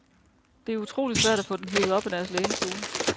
Det er utrolig svært at få dem hevet op af deres lænestole.